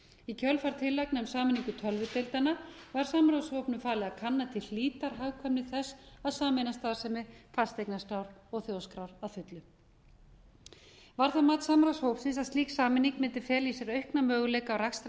í kjölfar tillagna um sameiningu tölvudeildanna var samráðshópnum falið að kanna til hlítar hagkvæmni þess að sameina starfsemi fasteignaskrár og þjóðskrár að fullu var það mat samráðshópsins að slík sameining mundi fela í sér aukna möguleika á